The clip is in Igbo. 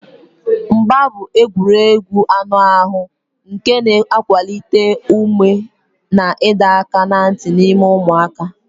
Mgba mgba bụ egwuregwu anụ ahụ nke na-akwalite ume na ịdọ aka ná ntị n'ime ụmụaka.